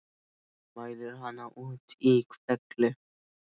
Hann mælir hana út í hvelli.